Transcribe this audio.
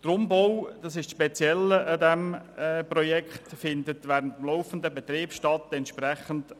Eine Spezialität dieses Umbaus besteht darin, dass er während des laufenden Betriebs stattfindet.